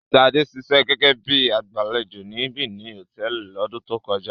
Ṣadé ṣiṣẹ́ gẹ́gẹ́ bí i agbàlejò ní Beni Hòtẹ́ẹ́lì lọ́dún tó kọjá.